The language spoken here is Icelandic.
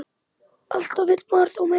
Alltaf vill maður þó meira.